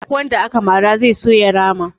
Duk wanda aka mara zai so ya rama